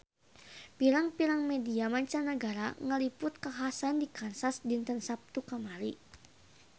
Pirang-pirang media mancanagara ngaliput kakhasan di Kansas dinten Saptu kamari